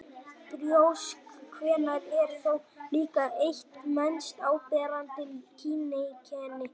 Brjóst kvenna eru þó líka eitt mest áberandi kyneinkenni þeirra.